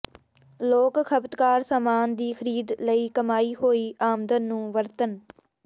ਲੋਕ ਖਪਤਕਾਰ ਸਾਮਾਨ ਦੀ ਖਰੀਦ ਲਈ ਕਮਾਈ ਹੋਈ ਆਮਦਨ ਨੂੰ ਵਰਤਣ